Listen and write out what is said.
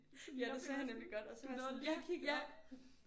Ja det sagde han nemlig godt og så var jeg sådan ja ja